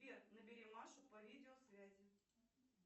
сбер набери машу по видеосвязи